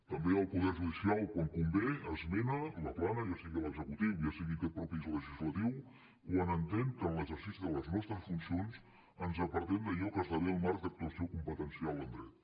també el poder judicial quan convé esmena la plana ja sigui a l’executiu ja sigui a aquest mateix legislatiu quan entén que en l’exercici de les nostres funcions ens apartem d’allò que esdevé el marc d’actuació competencial en dret